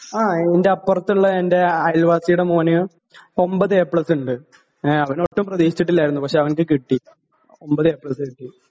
ങാ, എന്റെ അപ്പുറത്തുള്ള എന്റെ അയല്വാസിടെ മോന് ഒൻപത് എ പ്ലസ് ഉണ്ട്.അവൻ ഒട്ടും പ്രതീക്ഷിച്ചിട്ടില്ലായിരുന്നു.പക്ഷേ അവന് കിട്ടി, ഒൻപത് എ പ്ലസ് കിട്ടി.